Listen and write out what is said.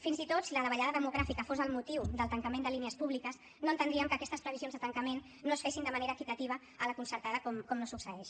fins i tot si la davallada demogràfica fos el motiu del tancament de línies públiques no entendríem que aquestes previsions de tancament no es fessin de manera equitativa a la concertada com no succeeix